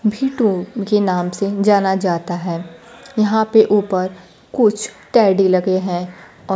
भीतो के नाम से जाना जाता है यहां पे ऊपर कुछ टेडी लगे हैं और--